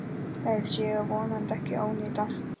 Þær séu vonandi ekki ónýtar.